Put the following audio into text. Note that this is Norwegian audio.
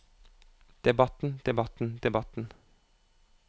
debatten debatten debatten